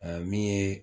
min ye